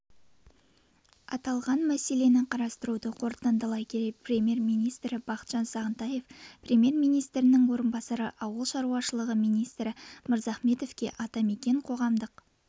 аталған мәселені қарауды қорытындылай келе премьер-министрі бақытжан сағынтаев премьер-министрінің орынбасары ауыл шаруашылығы министрі мырзахметовке атамекен қоғамдық